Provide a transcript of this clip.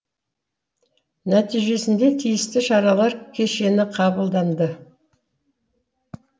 нәтижесінде тиісті шаралар кешені қабылданды